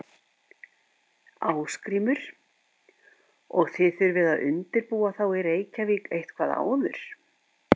Ásgrímur: Og þið þurfið að undirbúa þá í Reykjavík eitthvað áður?